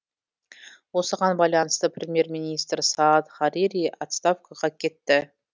осыған байланысты премьер министр саад харири отставкаға кетті